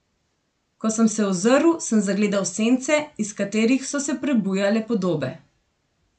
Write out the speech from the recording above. Ko sem se ozrl, sem zagledal sence, iz katerih so se prebujale podobe.